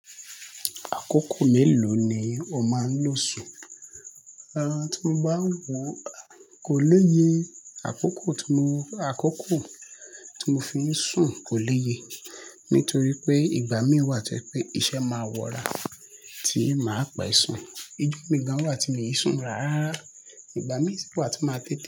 Àkókò mélòó ni o máa ń lo sùn? Rárá tí mo bá wo kò léye, àkókò tí mo, àkókò tí mo fi ń sùn kò léye nítorí pé ìgbà mí wà tí ẹ́ pé iṣẹ́ máa wọra tí ì máa pe sùn. Ijo mi gan wà tí mi e ń sùn rárá. Ìgbà mí sì wà tí màá tẹ́tí.